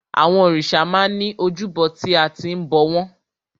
Àwọn òrìṣà máa ń ní ojúbọ tí a ti ń bọ̀ wọ́n.